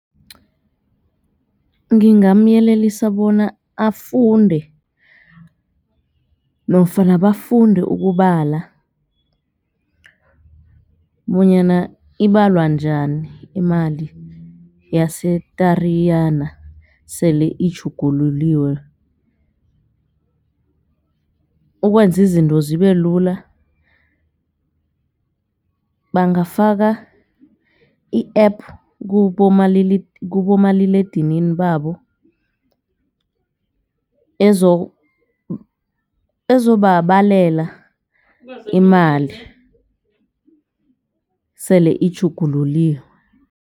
Ngingamyelelisa bona afunde nofana bafunde ukubala bonyana ibalwa njani imali yase-Tariyana sele itjhugululiwe ukwenza izinto zibe lula bangafaka i-app kubomaliledinini babo ezobabalela imali sele itjhugululiwe.